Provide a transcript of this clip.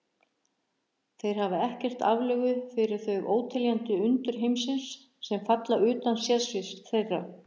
Þeir hafa ekkert aflögu fyrir þau óteljandi undur heimsins, sem falla utan sérsviðs þeirra.